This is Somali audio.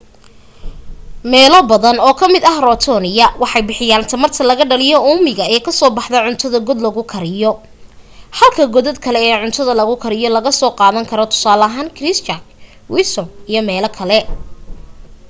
meelo badan oo ka mid ah rotorua waxay bixiyaan tamarta laga dhaliyo uumiga ee kasoo baxdaa cuntada god lagu kariyo halka godad kale ee cuntada lagu kariyo laga soo qaadan karo tusaale ahaan christchurch wellington iyo meelo kale